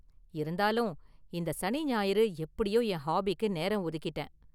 இருந்தாலும் இந்த சனி ஞாயிறு எப்படியோ என் ஹாபிக்கு நேரம் ஒதுக்கிட்டேன்.